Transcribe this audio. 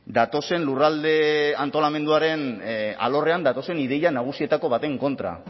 datozen lurralde antolamenduaren alorrean datozen ideia nagusietako baten kontra